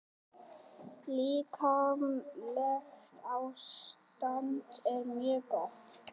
Líkamlegt ástand er mjög gott.